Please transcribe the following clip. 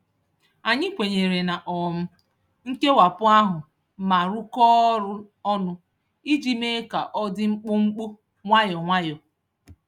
Anyị kwenyere na um nkewapụ ahụ ma rụkọọ ọrụ ọnụ iji mee ka ọ dị mkpụmkpụ, nwayọ nwayọ.